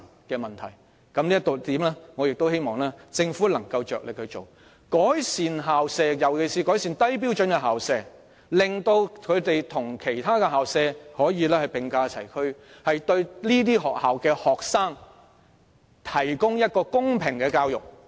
就這一點而言，我希望政府能夠着力改善校舍，尤其是低標準校舍，令它們可以與其他學校並駕齊驅，為在這些學校就讀的學生提供公平的教育。